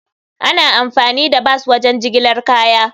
Ana amfani da bas wajen jigilar kaya.